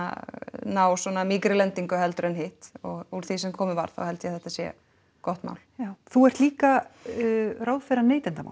ná svona mýkri lendingu heldur en hitt og úr því sem komið var þá held ég að þetta sé gott mál já þú ert líka ráðherra neytendamála